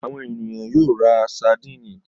Àwọn ènìyàn yóò ra sadínì.